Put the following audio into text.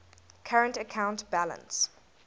current account balance